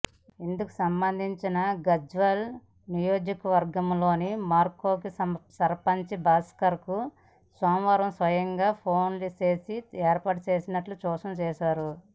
ఇందుకుసంబంధించి గజ్వేల్ నియోజకవర్గంలోని మర్కూక్ సర్పంచ్ భాస్కర్కు సోమవారం స్వయంగా ఫోన్చేసి ఏర్పాట్లపై సూచనలు చేశారు